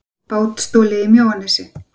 Bát stolið í Mjóanesi